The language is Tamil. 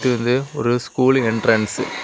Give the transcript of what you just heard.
இது ஒரு ஸ்கூல் என்ட்ரன்ஸ் .